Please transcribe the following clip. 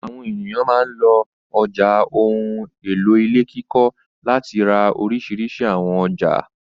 Àwọn ènìyàn máa ń lọ ọjà ohun-èlò ilé kíkọ́ láti ra oríṣiríṣi àwọn ọjà.